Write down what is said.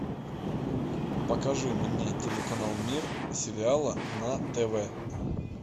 покажи мне телеканал мир сериала на тв